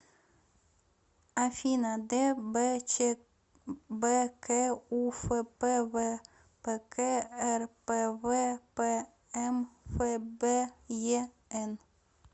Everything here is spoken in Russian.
афина дбчбк у фпвпк рпвпмфбен